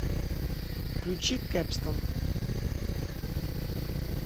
включи кэпстан